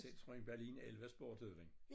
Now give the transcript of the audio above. Citroën Berlin 11 Sport hed den